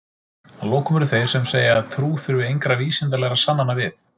Að lokum eru þeir sem segja að trú þurfi engra vísindalegra sannana við.